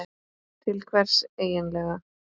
Til hvers eigin lega?